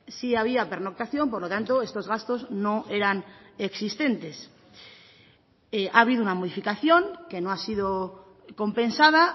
sí había pernoctación por lo tanto estos gastos no eran existentes ha habido una modificación que no ha sido compensada